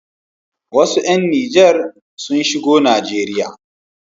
Wasu ƴan Nijar sun shigo Najeriya.